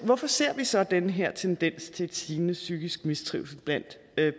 hvorfor ser vi så den her tendens til stigende psykisk mistrivsel blandt